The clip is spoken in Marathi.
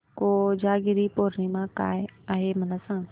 कोजागिरी पौर्णिमा काय आहे मला सांग